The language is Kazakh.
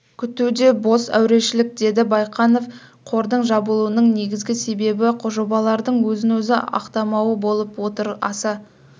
күту де бос әурешілік деді байқанов қордың жабылуының негізгі себебі жобалардың өзін-өзі ақтамауы болып отыр аса